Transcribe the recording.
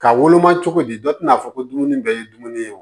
Ka woloma cogo di dɔ tɛna fɔ ko dumuni bɛɛ ye dumuni ye